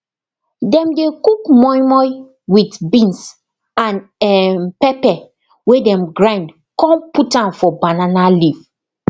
dem dey cook moi moi with beans and um pepper wey dem grind con put am for banana leaf